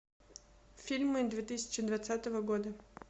фильмы две тысячи двадцатого года